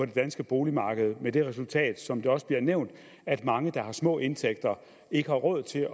det danske boligmarked med det resultat som det også bliver nævnt at mange der har små indtægter ikke har råd til